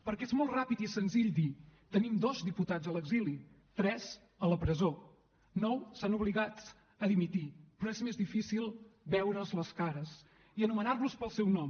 perquè és molt ràpid i senzill dir tenim dos diputats a l’exili tres a la presó nou han estat obligats a dimitir però és més difícil veure’ls les cares i anomenar los pel seu nom